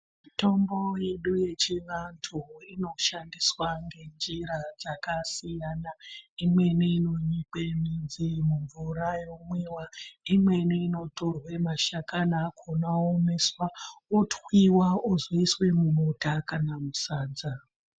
Mitombo yedu yechivantu inoshandiswa ngenjira dzakasiyana imweni inonyikwa muvura womwiwa imweni inotorwa mashakani akonawo oomeswa otwiwa okzoiswa mubota kana musadza.